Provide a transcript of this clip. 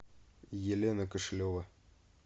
елена кошелева